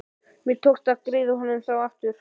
Mér tókst að greiða honum þá aftur.